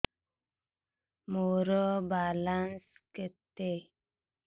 ମୋର ବାଲାନ୍ସ କେତେ